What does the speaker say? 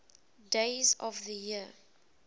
days of the year